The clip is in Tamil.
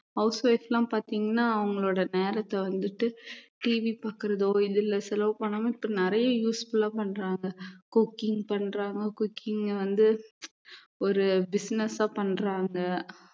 house wife எல்லாம் பார்த்தீங்கன்னா அவங்களோட நேரத்தை வந்துட்டு TV பாக்குறதோ இதுல செலவு பண்ணாம இப்ப நிறைய useful ஆ பண்றாங்க cooking பண்றாங்க cooking அ வந்து ஒரு business ஆ பண்றாங்க